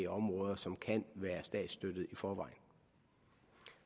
områder som kan være statsstøttet i forvejen